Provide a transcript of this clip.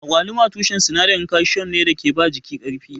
Agwaluma tushen sinadarin kalsiyom ne da ke ba jiki ƙarfi.